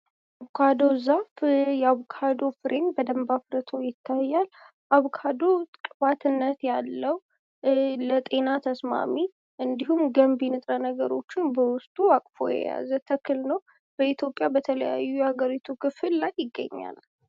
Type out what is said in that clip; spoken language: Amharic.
የአቮካዶ ዛፍ የአቮካዶ ፍሬም በደንብ አፍርቶ ይታያ አቮካዶ ቅባትነት ያለው ለጤና ተስማሚ በውስጡ ብዙ ንጥረ ነገሮችን የያዘ ተክል ነው። በኢትዮጵያ ብዙ የሀገሪቱ ክፍል ላይ ይገኛል።